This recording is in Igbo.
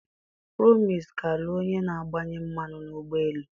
Promise ga-alụ onye na-agbanye mmanụ n'ụgbọ elu.